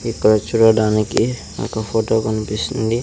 ఇక్కడ చూడడానికి ఒక ఫోటో కనిపిస్తుంది.